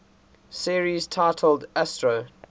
series titled astro